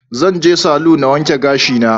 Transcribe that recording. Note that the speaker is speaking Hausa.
Zan je salu na wanke gashi na